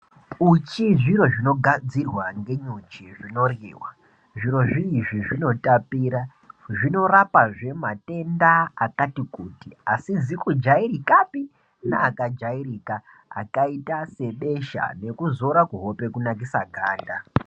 Uchi zviro zvinogadzirwa ngenyuchi zvinoryiwa zviro zvii izvi zvinotapira zvinorapa zvee matenda akati kuti asizi kujairika pii neakajairika akaita sebesha neekuzora kuhope kunakisa ganda.